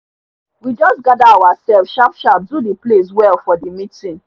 we just gather oursef sharp sharp do the place well for the meeting